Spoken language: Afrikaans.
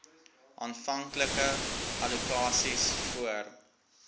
aanvanklike allokasies voor